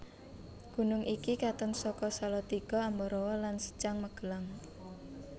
Gunung iki katon saka Salatiga Ambarawa lan Secang Magelang